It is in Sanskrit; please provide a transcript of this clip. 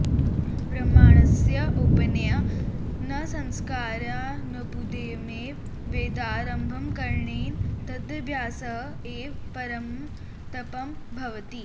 ब्राह्मणस्य उपनयनसंस्कारानुपदमेव वेदारम्भकरणेन तदभ्यासः एव परमं तपः भवति